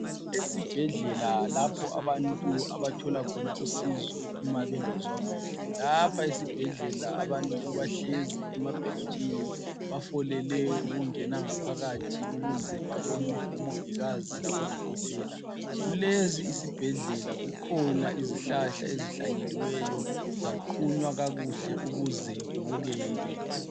Esibhedlela lapho abantu abathola khona usizo uma bengazwa kuhle, lapha esibhedlela abantu bahlezi emabhentshini bafolele ukungena ngaphakathi ukuze babonwe ngomongikazi labo odokotela ,kulesi isibhedlela kukhona izihlahla ezihlanyeliweyo zaqunywe kakuhle ukuze kubukeke.